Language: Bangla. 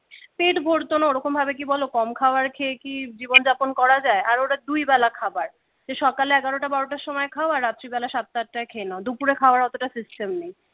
পেট ভরতো না ওরকম ভাবে কি বলো কম খাবার খেয়ে কি জীবন যাপন করা যায় আর ওরা দুই বেলা খাবার সকাল এগারো টা বারোটার সময় খাবার রাত্রিবেলা সাতটা আটটায় খেয়ে নাও দুপুরে খাওয়ার অতটা সিস্টেম নেই